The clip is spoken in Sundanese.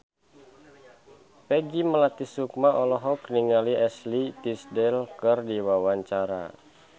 Peggy Melati Sukma olohok ningali Ashley Tisdale keur diwawancara